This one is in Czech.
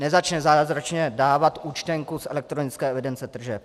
Nezačne zázračně dávat účtenku z elektronické evidence tržeb.